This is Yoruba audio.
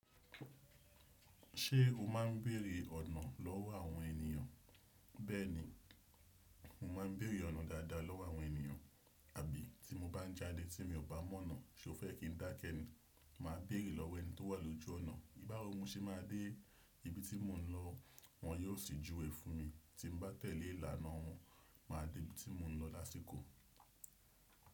Ṣé o má ń bèrè ọ̀nà lọ́wọ́ àwọn ènìyàn? Bẹ́ẹ̀ni, mo máa ń bẹ̀ẹ̀rẹ̀ ọ̀nà dáadáa lọ́wọ́ àwọn ènìyàn, àbí tí mo bá jáde tí mi ò bá mọ ọ̀nà, ṣo fẹ́ kí n dá kẹ́ ní? Mà á bèrè lọ́wọ́ ẹni tó wà lójú ọ̀nà. Bá wo mo ṣé mà á bére ibi tí mò ń lọ, wọn yóò sì júwe fún mi. Tí n bá tẹ̀lé ìlànà wọn, mà á dé ibi tí mò ń lọ lásìkò.